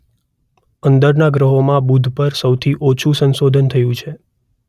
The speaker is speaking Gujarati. અંદરના ગ્રહોમાં બુધ પર સૌથી ઓછું સંશોધન થયું છે.